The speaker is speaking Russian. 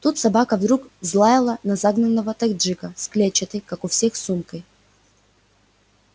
тут собака вдруг взлаяла на загнанного таджика с клетчатой как у всех сумкой